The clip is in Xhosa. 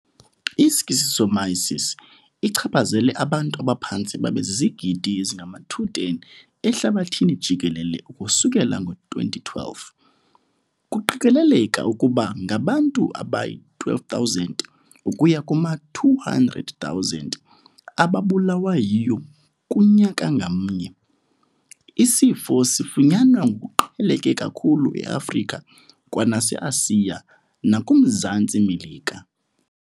I-Schistosomiasis ichaphazele abantu abaphantse babe zizigidi ezingama-210 ehlabathini jikelele ukusukela ngo-2012. Kuqikeleleka ukuba ngabantu abayi-12,000 ukuya kuma-200,000 ababulawa yiyo kunyaka ngamnye. Isifo sifunyanwa ngokuqheleke kakhulu eAfrika, kwanaseAsiya nakuMzantsi Melika.